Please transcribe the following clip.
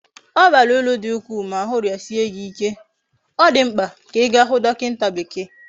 Obara uru di ukwu ma ahu riasie gi ike, odimkpa di ka iga hu dokinta bekee